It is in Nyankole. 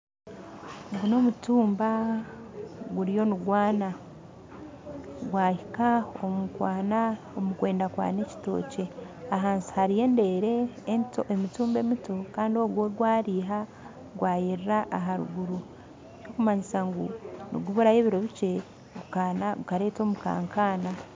Ogu n'omutumba guriyo nigwana gwahinka omukwenda kwana ekitookye ahansi hariho emitumba emito kandi ogu gwo gwariha gwirira aharuguru ekirikumanyisa niguburayo obwire bukye gukareeta omukankaana